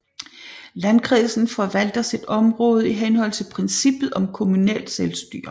Landkredsen forvalter sit område i henhold til princippet om kommunalt selvstyre